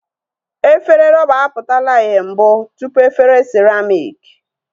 Efere rọba a pụtala ihe mbụ tụpụ efere siramịk